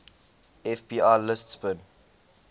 fbi lists bin